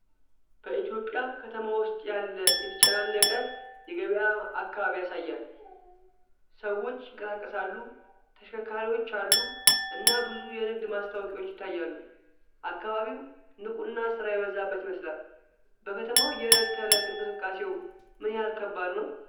በኢትዮጵያ ከተማ ውስጥ ያለ የተጨናነቀ የገበያ አካባቢ ያሳያል። ሰዎች ይንቀሳቀሳሉ፣ ተሽከርካሪዎች አሉ፣ እና ብዙ የንግድ ማስታወቂያዎች ይታያሉ። አካባቢው ንቁና ሥራ የበዛበት ይመስላል። በከተማው የዕለት ተዕለት እንቅስቃሴው ምን ያህል ከባድ ነው?